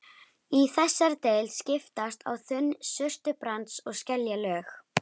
Í þessari deild skiptast á þunn surtarbrands- og skeljalög.